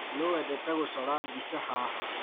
Nũ wendete gũcora mbica haha?